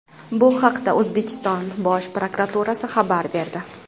Bu haqda O‘zbekiston Bosh prokuraturasi xabar berdi .